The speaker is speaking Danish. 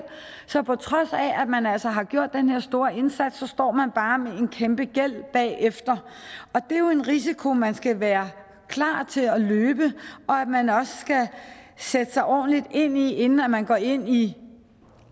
så på trods af at man altså har gjort den her store indsats står man bare med en kæmpe gæld bagefter og det er jo en risiko man skal være klar til at løbe og som man også skal sætte sig ordentligt ind i inden man går ind i